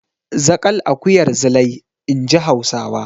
Zaƙal akuyar Zilai, in ji Hausawa.